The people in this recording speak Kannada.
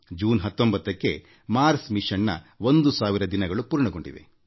ಜೂನ್ 19ಕ್ಕೆ ನಮ್ಮ ಮಂಗಳಯಾನ 1000 ದಿನಗಳನ್ನು ಪೂರೈಸಿದೆ